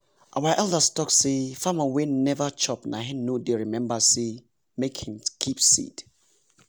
our elders talk say farmer wey never chop na hin no dey remember say make hin keep seed